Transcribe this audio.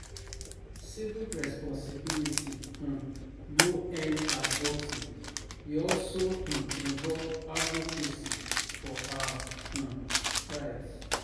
Civic responsibility um no end at voting; e also um involve advocacy for our um rights.